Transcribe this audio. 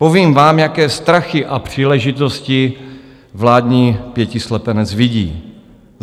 Povím vám, jaké strachy a příležitosti vládní pětislepenec vidí.